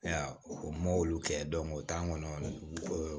O m'olu kɛ o t'an kɔnɔ